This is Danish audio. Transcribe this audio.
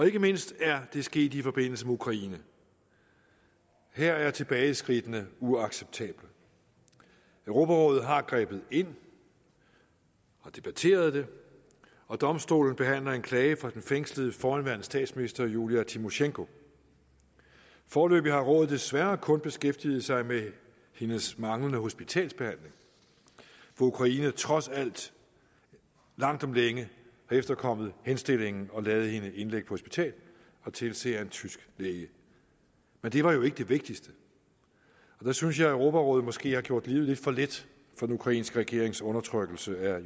ikke mindst er det sket i forbindelse med ukraine her er tilbageskridtene uacceptable europarådet har grebet ind og debatteret det og domstolen behandler en klage fra den fængslede forhenværende statsminister julija tymosjenko foreløbig har rådet desværre kun beskæftiget sig med hendes manglende hospitalsbehandling hvor ukraine trods alt langt om længe har efterkommet henstillingen og ladet hende indlægge på hospitalet og tilse af en tysk læge men det var jo ikke det vigtigste der synes jeg at europarådet måske har gjort livet lidt for let for den ukrainske regerings undertrykkelse af